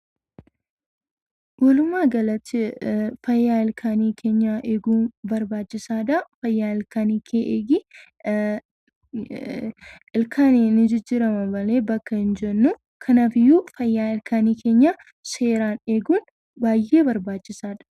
Walumaa galatti fayyaa ilkaan keenyaa eeguun barbaachisaadha. Fayyaa ilkaan keetii eegi. Ilkaan ni jijjiirama malee bakka hin buufnu. Kanaafiyyuu fayyaa ilkaan keenyaa eeguun baay'ee barbaachisaadha.